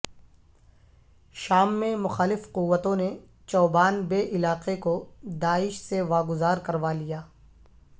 شام میں مخالف قوتوں نے چوبان بے علاقے کو داعش سے وا گزار کروا لیا